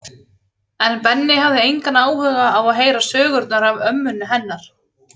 En Benni hafði engan áhuga á að heyra sögurnar af ömmunni hennar